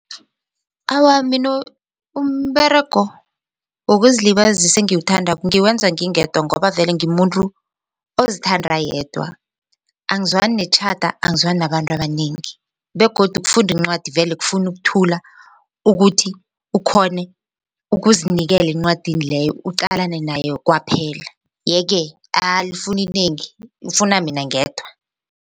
Awa, mina umberego wokuzilibazisa engiwuthandako ngiwenza ngingedwa ngoba vele ngimuntu ozithanda ayedwa angizwani netjhada angizwani nabantu abanengi begodu ukufunda incwadi vele kufuna ukuthula ukuthi ukhone ukuzinikela encwadini leyo uqalane nayo kwaphela yeke alifuni inengi ifuna mina ngedwa.